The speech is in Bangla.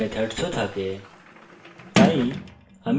এখন একটি class methods ও থাকে